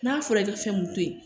N'a fɔra i ka fɛn mun to yen